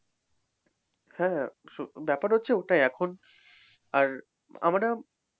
হ্যাঁ ব্যাপার হচ্ছে ওটাই এখন আর আমরা,